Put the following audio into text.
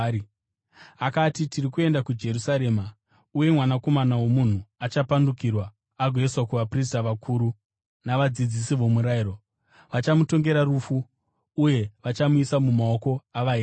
Akati, “Tiri kuenda kuJerusarema, uye Mwanakomana woMunhu achapandukirwa agoiswa kuvaprista vakuru navadzidzisi vomurayiro. Vachamutongera rufu uye vachamuisa mumaoko eveDzimwe Ndudzi,